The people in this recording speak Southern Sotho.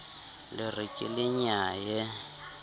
la re ke le nyaye